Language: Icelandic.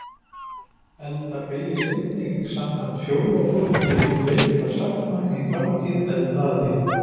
Elda beygist einnig samkvæmt fjórða flokki veikra sagna, í þátíð eldaði.